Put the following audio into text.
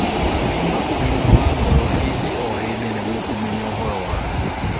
Thima ũgima wa ngoro hĩndĩ o hĩndĩ nĩguo kũmenya ũhoro waku